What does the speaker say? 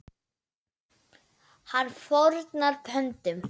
Hann fórnar höndum.